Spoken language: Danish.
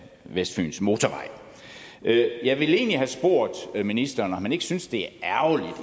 vestfyns motorvej jeg jeg ville egentlig have spurgt ministeren om han ikke synes det